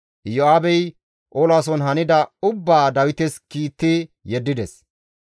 Iyo7aabey olason hanida ubbaa Dawites kiitti yeddides.